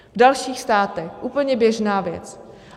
V dalších státech úplně běžná věc.